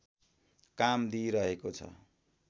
काम दिइरहेको छ